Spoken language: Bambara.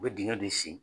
U bɛ dingɛ de sen